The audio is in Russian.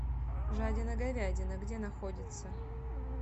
жадина говядина где находится